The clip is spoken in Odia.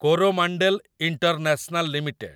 Coromandel international limited